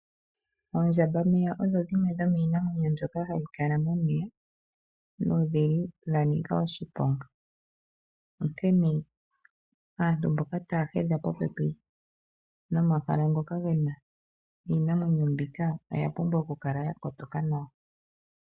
Oondjambameya odho dhimwe dhomiinamwenyo mbyoka hayi kala momeya nodhili dha nika oshiponga onkene aantu mboka taya hedha popepi nomahala ngoka gena iinamwenyo mbika oya pumbwa oku kala ya kotoka nawa.